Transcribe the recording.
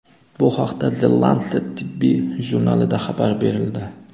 Bu haqda The Lancet tibbiy jurnalida xabar berildi .